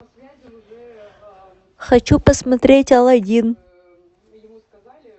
хочу посмотреть алладин